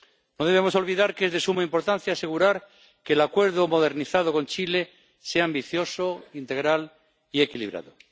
No debemos olvidar que es de suma importancia asegurar que el Acuerdo modernizado con Chile sea ambicioso, integral y equilibrado.